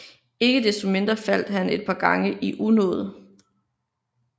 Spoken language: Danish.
Ikke desto mindre faldt han et par gange i unåde